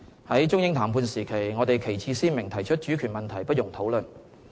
在中英談判時期，我們旗幟鮮明提出主權問題不容討論。